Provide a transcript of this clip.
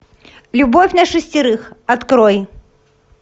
любовь на шестерых открой